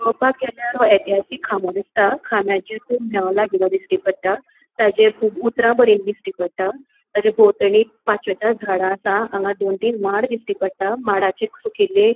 पोवपाक गेल्यार हो ऐतिहासिक खामो दिसता खामयाचेर कुब मेळ लागिल्लो दिसटी पोट्ट ताजेर कुब उतरा बरेली दिसटी पोट्ट ताजे भोवतणी पाचवेचार झाड़ा आसा हांगा दोन तीन माड दिसटी पोट्ट माडाचे सुकेले --